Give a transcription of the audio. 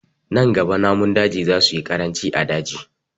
Nan gaba namun daji za su yi ƙaranci a daji